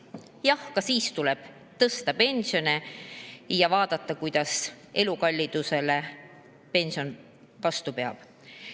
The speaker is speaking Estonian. Jah, ka siis tuleb tõsta pensioni ja vaadata, kuidas pension elukallidusele vastu peab.